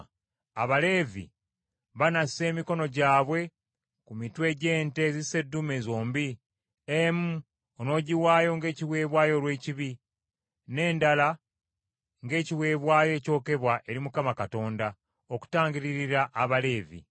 “Abaleevi banassa emikono gyabwe ku mitwe gy’ente zisseddume zombi; emu onoogiwaayo ng’ekiweebwayo olw’ekibi, n’endala ng’ekiweebwayo ekyokebwa eri Mukama Katonda, okutangiririra Abaleevi.